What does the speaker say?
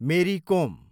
मेरी कोम